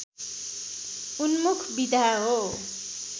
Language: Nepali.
उन्मुख विधा हो